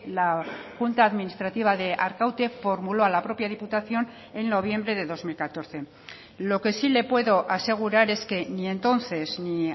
la junta administrativa de arkaute formuló a la propia diputación en noviembre de dos mil catorce lo que sí le puedo asegurar es que ni entonces ni